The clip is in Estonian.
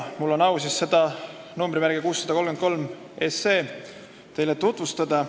Mul on siis au seda eelnõu numbriga 633 teile tutvustada.